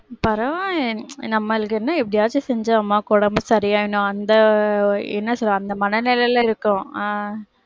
பரவாயி~ நம்மள்க்கு வந்து எப்படியாச்சு அம்மாக்கு கொஞ்சம் உடம்பு சரியாயிரனும், அந்த எண்ணத்துல அந்த மனநிலையில இருக்கோம். ஆஹ்